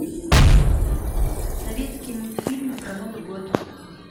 советские мультфильмы про новый год